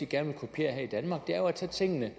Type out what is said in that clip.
gerne vil kopiere her i danmark er jo at tage tingene